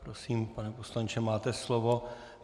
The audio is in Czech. Prosím, pane poslanče, máte slovo.